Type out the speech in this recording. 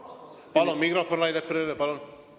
Palun mikrofon Rain Eplerile!